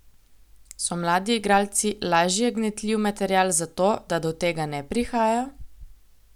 So mladi igralci lažje gnetljiv material za to, da do tega ne prihaja?